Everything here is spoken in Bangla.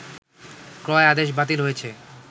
ক্রয় আদেশ বাতিল হয়েছে